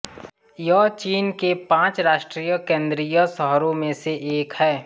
यह चीन के पांच राष्ट्रीय केन्द्रीय शहरों में से एक है